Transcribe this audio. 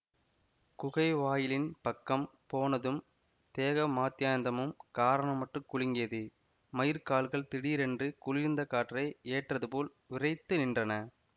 குகை வாயிலின் பக்கம் போனதும் தேக மாத்யந்தமும் காரணமற்றுக் குலுங்கியது மயிர்க்கால்கள் திடீரென்று குளிர்ந்த காற்றை ஏற்றதுபோல் விறைத்து நின்றன